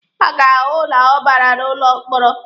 Ha ga-ahụ na ọ bara n'ụlọ mkpọrọ.